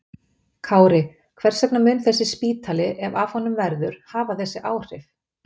Kári, hvers vegna mun þessi spítali, ef af honum verður, hafa þessi áhrif?